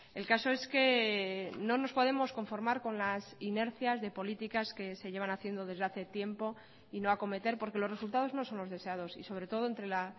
el caso es que no nos podemos conformar con las inercias de políticas que se llevan haciendo desde hace tiempo y no acometer porque los resultados no son los deseados y sobre todo entre la